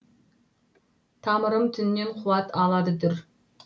тамырым түннен қуат алады дүр